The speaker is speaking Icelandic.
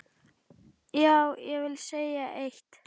Já, ég vil segja eitt!